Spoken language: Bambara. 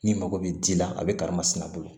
N'i mago bɛ ji la a bɛ karimasina bolo